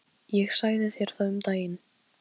En fljótt skipuðust veður í lofti.